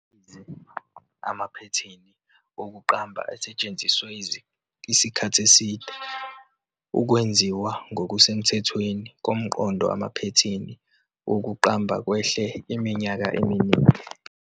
Yize amakhethini wokuqamba esetshenziswe isikhathi eside, ukwenziwa ngokusemthethweni komqondo wamaphethini wokuqamba kwehle iminyaka eminingi.